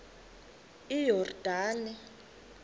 iyordane